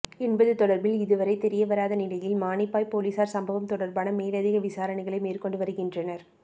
என்பது தொடர்பில் இதுவரை தெரிய வராத நிலையில் மானிப்பாய்ப் பொலிஸார் சம்பவம் தொடர்பான மேலதிக விசாரணைகளை மேற்கொண்டு வருகின்றனர்